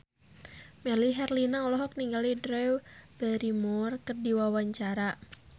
Melly Herlina olohok ningali Drew Barrymore keur diwawancara